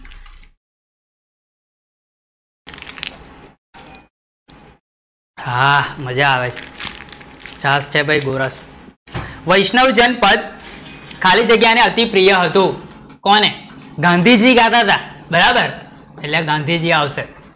આહ, મજા આવે, છાસ છે ભઈ ગોરસ? વૈષ્ણજન પથ ખાલી જગ્યા ને અતિ પ્રિય હતું. કોને? ગાંધીજી ગાતા હતા, એટલે ગાંધીજી આવશે